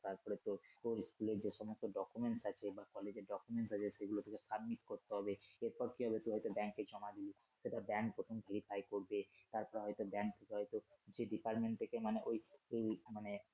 তারপরে তোর স্কুলের যে সমস্ত documents আছে বা কলেজের documents আছে সেগুলো তোকে submit করতে হবে এরপর কি হবে তোকে হয়তো ব্যাংকে জমা দিতে হবে অথবা bank প্রথম verify করবে তারপর হয়তো ব্যাংক হয়তো সেই department থেকে মানে এই আহ মানে